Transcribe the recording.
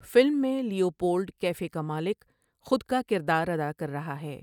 Film میں Leopold cafe کا مالک خود کا کردار ادا کر رہا ہے۔